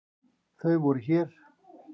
Þau voru hér.